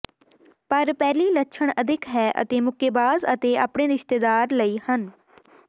ਪਰ ਪਹਿਲੀ ਲੱਛਣ ਅਦਿੱਖ ਹੈ ਅਤੇ ਮੁੱਕੇਬਾਜ਼ ਅਤੇ ਆਪਣੇ ਰਿਸ਼ਤੇਦਾਰ ਲਈ ਹਨ